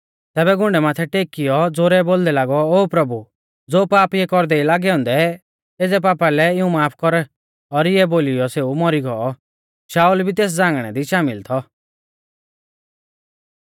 तैबै घुण्डै माथै टेकीऔ ज़ोरै बोलदै लागौ ओ प्रभु ज़ो पाप इऐ कौरदै ई लागै औन्दै एज़ै पापा लै इऊं माफ कर और इणै बोलीयौ सेऊ मौरी गौ शाऊल भी तेस झ़ांगणै दी शामिल थौ